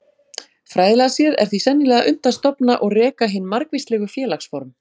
Fræðilega séð er því sennilega unnt að stofna og reka hin margvíslegu félagsform.